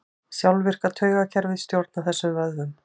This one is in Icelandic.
Sjálfvirka taugakerfið stjórnar þessum vöðvum.